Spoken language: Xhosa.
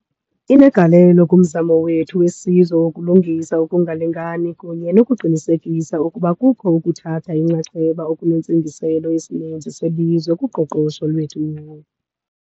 Inegalelo kumzamo wethu wesizwe wokulungisa ukungalingani kunye nokuqinisekisa ukuba kukho ukuthatha inxaxheba okunentsingiselo yesininzi selizwe kuqoqosho lwethu.